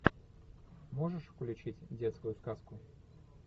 можешь включить детскую сказку